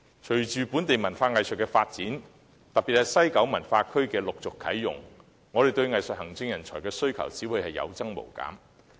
隨着本地文化藝術的發展，特別是西九文化區陸續啟用，我們對藝術行政人才的需求只會有增無減。